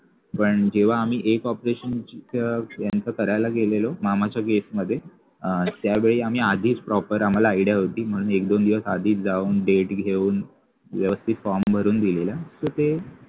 पण जेव्हा आम्ही एक operation यांचं करायला गेलेलो मामाच्या मध्ये त्यावेळी आम्ही आधी proper आम्हाला idea म्हणून होती दोन दिवस आधीच जाऊन date घेऊन व्यवस्थित form भरून दिलेला तर ते